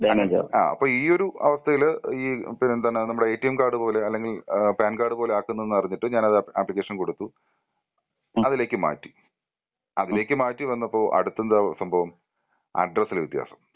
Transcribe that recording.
അപ്പോ ഈ ഒരു അവസ്ഥയിൽ ഈ പിന്നെ എന്താണ് നമ്മുടെ എട്ടിഎം കാർഡ് പോലെ അല്ലെങ്കിൽ ഏഹ് പാൻ കാർഡ് പോലെ ആക്കുന്നു എന്ന് പറഞ്ഞിട്ട് ഞാനത് ആപ്ലിക്കേഷൻ കൊടുത്തു. അതിലേക്ക് മാറ്റി അതിലേക്ക് മാറ്റി വന്നപ്പോ അടുത്ത എന്താ സംഭവം അഡ്രസ്സ് വ്യത്യാസം.